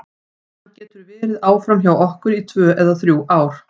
Hann getur verið áfram hjá okkur í tvö eða þrjú ár.